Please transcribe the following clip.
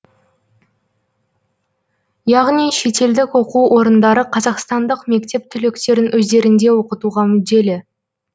яғни шетелдік оқу орындары қазақстандық мектеп түлектерін өздерінде оқытуға мүдделі